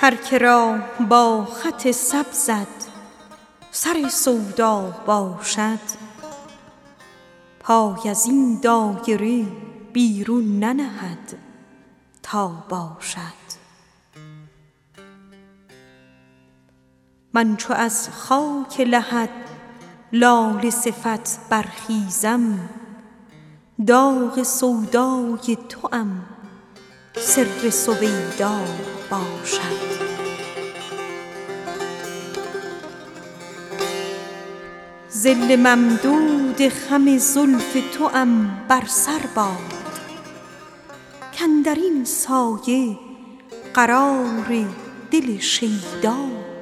هر که را با خط سبزت سر سودا باشد پای از این دایره بیرون ننهد تا باشد من چو از خاک لحد لاله صفت برخیزم داغ سودای توام سر سویدا باشد تو خود ای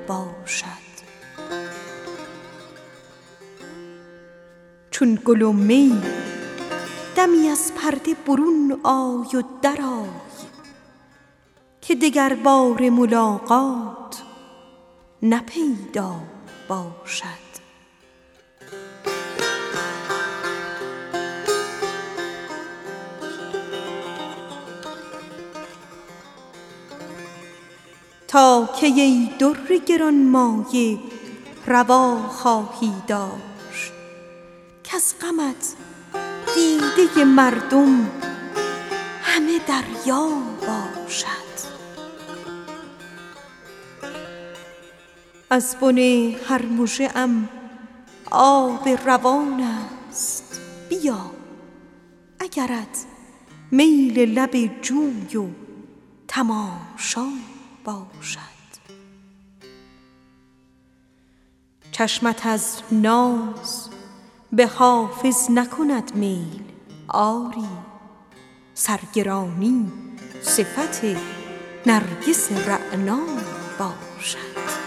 گوهر یک دانه کجایی آخر کز غمت دیده مردم همه دریا باشد از بن هر مژه ام آب روان است بیا اگرت میل لب جوی و تماشا باشد چون گل و می دمی از پرده برون آی و درآ که دگرباره ملاقات نه پیدا باشد ظل ممدود خم زلف توام بر سر باد کاندر این سایه قرار دل شیدا باشد چشمت از ناز به حافظ نکند میل آری سرگرانی صفت نرگس رعنا باشد